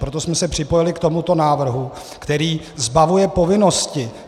Proto jsme se připojili k tomuto návrhu, který zbavuje povinnosti.